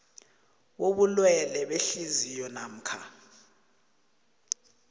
bobulwele behliziyo namkha